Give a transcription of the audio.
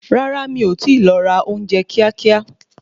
Rárá, mi ọ ti lọ ra ounje kíá kíá